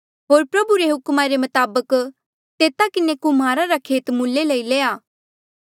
होर प्रभु रे हुक्मा रे मताबक तेता किन्हें कुम्हारा रा खेत मुल्ले लई लया